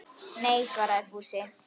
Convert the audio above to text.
Nei svaraði Fúsi.